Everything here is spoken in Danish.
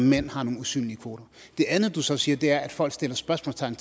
mænd har nogle usynlige kvoter det andet du så siger er at folk sætter spørgsmålstegn